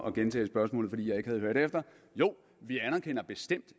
at gentage spørgsmålet fordi jeg ikke havde hørt efter jo vi anerkender bestemt